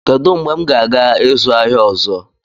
Kedu mgbe m ga-aga ịzụ ahịa ọzọ?